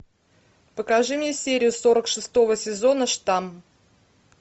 покажи мне серию сорок шестого сезона штамм